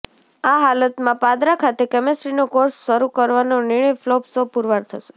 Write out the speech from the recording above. આ હાલતમાં પાદરા ખાતે કેમેસ્ટ્રીનો કોર્સ શરૃ કરવાનો નિર્ણય ફ્લોપ શો પૂરવાર થશે